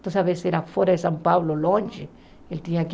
Então, às vezes, era fora de São Paulo, longe, eu tinha que